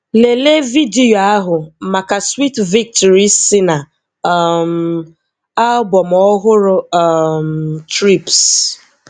Lelee vidiyo ahu maka Sweet Victory si na um album ọhụrụ um Trip's.